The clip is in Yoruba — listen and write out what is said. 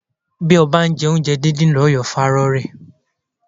Bí ó bá ń jẹ oúnjẹ dídín lọ yóò fa rorẹ́.